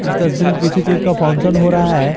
इस तस्वीर में किसी चीज का फंक्शन हो रहा है।